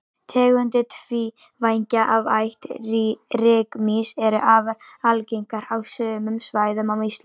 tegundir tvívængja af ætt rykmýs eru afar algengar á sumum svæðum á íslandi